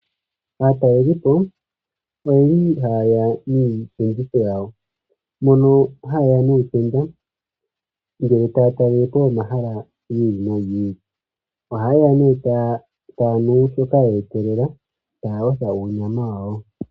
Aatalelipo oyeli hayeya niipinditho yawo. Mono hayeya nuutenda ngele taya talelepo omahala giili nogiili ili. Ohaaya nee taya nu shoka ye etelela yo taya yotha uunyama wayo.